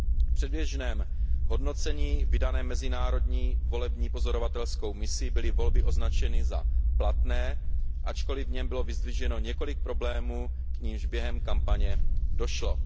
V předběžném hodnocení vydaném mezinárodní volební pozorovatelskou misí byly volby označeny za platné, ačkoli v něm bylo vyzdviženo několik problémů, k nimž během kampaně došlo.